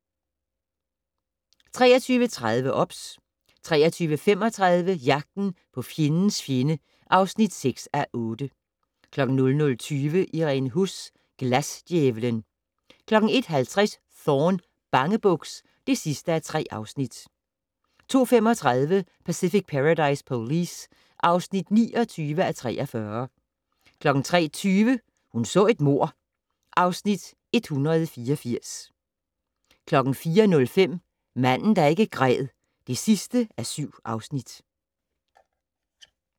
23:30: OBS 23:35: Jagten på fjendens fjende (6:8) 00:20: Irene Huss: Glasdjævlen 01:50: Thorne: Bangebuks (3:3) 02:35: Pacific Paradise Police (29:43) 03:20: Hun så et mord (Afs. 184) 04:05: Manden der ikke græd (7:7)